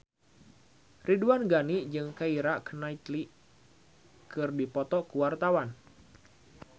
Ridwan Ghani jeung Keira Knightley keur dipoto ku wartawan